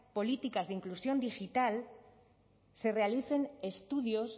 políticas de inclusión digital se realicen estudios